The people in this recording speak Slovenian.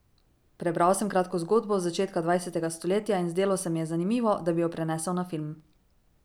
Prebral sem kratko zgodbo z začetka dvajsetega stoletja in zdelo se mi je zanimivo, da bi jo prenesel na film.